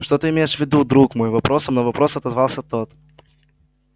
что ты имеешь в виду друг мой вопросом на вопрос отозвался тот